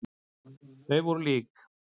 Þau voru lík.